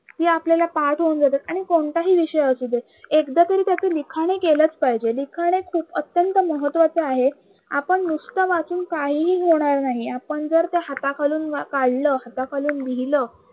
कि आपल्याला पाठ होऊन जातात आणि कोणताही विषय असू दे एकदा तरी त्याच लिखाण ही केलच पाहिजे. लिखाण हे एक खूप अतंत्य महत्वाचं आहे. आपण नुसत वाचून काहीही होणार नाही आपण जर ते हाताखालून काढलं हाताखालून लिहिलं